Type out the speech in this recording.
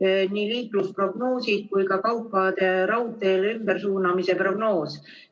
nii liiklusprognoosid kui ka kaupade raudteele ümbersuunamise prognoos.